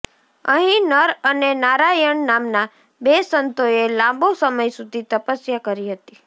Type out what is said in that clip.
અહીં નર અને નારાયણ નામના બે સંતોએ લાંબો સમય સુધી તપસ્યા કરી હતી